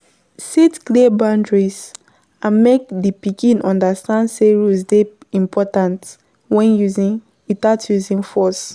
Set clear boundries and make di pikin understand sey rules dey important without using force